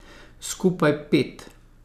Skupaj pet.